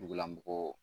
Dugulamɔgɔw